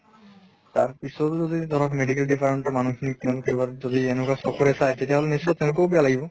তাৰ পিছটো যদি ধৰক medical department ৰ মানুহ খিনিক তেওঁলোকে বাৰু যদি এনুকা চকুৰে চায় তেতিয়াহʼলে নিশ্চয় তেওঁলোকৰো বেয়া লাগিব।